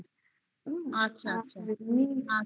আচ্ছা আচ্ছা